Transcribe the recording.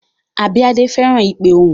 Abíadé fẹ́ràn ìpe ohùn